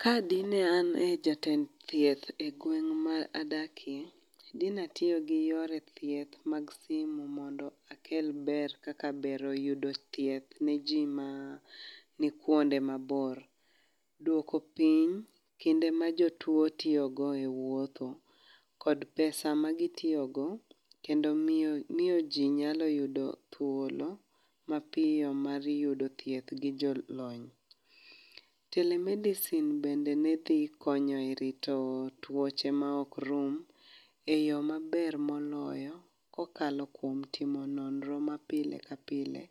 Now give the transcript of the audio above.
Ka dine an e jatend thieth e gweng' ma adakie, dine atiyo gi yore thieth mag simu mondo akel ber, kaka bero yudo thieth, ne ji ma ni kuonde mabor. Duoko piny kinde ma jotwoo tiyogo e wuotho, kod pesa ma gitiyogo, kendo miyo, miyo ji nyalo yudo thuolo mapiyo mar yudo thieth gi jolony. Telemedicine bende ne dhi konyo e rito tuoche ma ok rum, e yoo maber moloyo, kokalo kuom timo nonro ma pile ka pile,